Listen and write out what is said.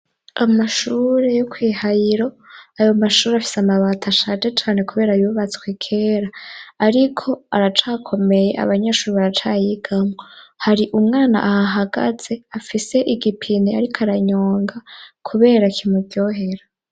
Amashure yo kwihayiro ayo mashuri afise amabati ashaje cane kubera yubatswe kera ariko aracakomeye abanyeshuri baraca yigamwo hari umwana ahahagaze afise igipini ariko aranyonga kubera kimuryohera.